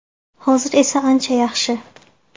Hozir esa ancha yaxshi.